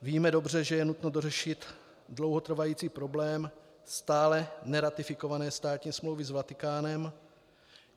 Víme dobře, že je nutno dořešit dlouhotrvající problém stále neratifikované státní smlouvy s Vatikánem.